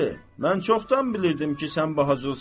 Mən çoxdan bilirdim ki, sən bacılısan.